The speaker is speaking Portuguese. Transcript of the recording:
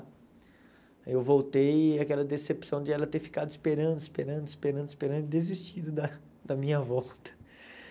Aí eu voltei e aquela decepção de ela ter ficado esperando, esperando, esperando, esperando, desistindo da da minha volta,